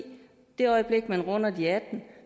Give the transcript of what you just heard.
det øjeblik man runder de atten